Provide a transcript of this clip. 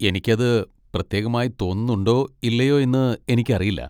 എനിക്ക് അത് പ്രത്യേകമായി തോന്നുന്നുണ്ടോ ഇല്ലയോ എന്ന് എനിക്കറിയില്ല.